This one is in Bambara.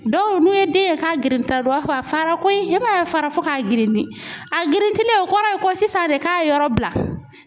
Dɔw n'u ye den ye k'a girinti dɔn u b'a fɔ a fara koyi e m'a ye a fara fo k'a girinti a girintilen o kɔrɔ ye ko sisan de k'a ye yɔrɔ bila.